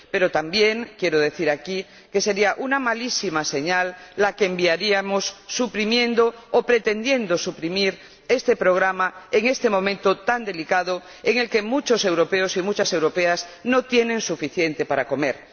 Pero también quiero decir aquí que sería una malísima señal la que enviaríamos suprimiendo o pretendiendo suprimir este programa en este momento tan delicado en el que muchos europeos y muchas europeas no tienen suficiente para comer.